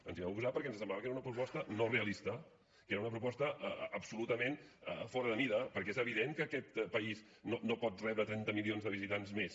ens hi vam oposar perquè ens semblava que era una proposta no realista que era una proposta absolutament fora de mida perquè és evident que aquest país no pot rebre trenta milions de visitants més